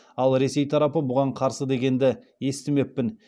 ал ресей тарапы бұған қарсы дегенді естімеппін